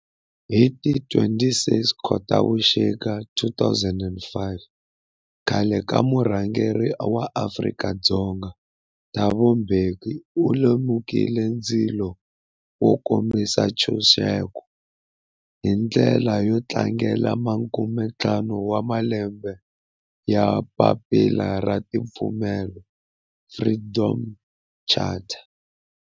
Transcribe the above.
Hi ti 26 Khotavuxika 2005 khale ka murhangeri wa Afrika-Dzonga Thabo Mbeki u lumekile ndzilo wo kombisa ntshuxeko, hi ndlela yo tlangela makume-ntlhanu wa malembe ya papila ra timfanelo, Freedom Charter.